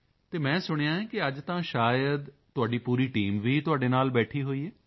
ਅਤੇ ਮੈਂ ਸੁਣਿਆ ਹੈ ਕਿ ਅੱਜ ਤਾਂ ਸ਼ਾਇਦ ਤੁਹਾਡੀ ਪੂਰੀ ਟੀਮ ਵੀ ਤੁਹਾਡੇ ਨਾਲ ਬੈਠੀ ਹੋਈ ਹੈ